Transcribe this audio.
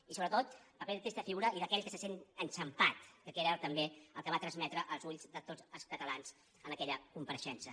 i sobretot paper de trista figura i d’aquell que se sent enxampat que queda també el que va transmetre als ulls de tots els catalans en aquella compareixença